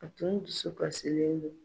A tun dusu kasilen don.